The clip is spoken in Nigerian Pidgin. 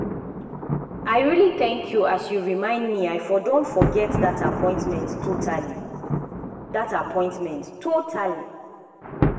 i really thank you as you remind me i for don forget that appointment totally. that appointment totally.